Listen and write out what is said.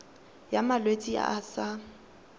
ya malwetse a a sa